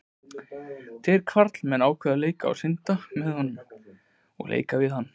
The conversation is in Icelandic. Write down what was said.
Tveir karlmenn ákváðu að synda að honum og leika við hann.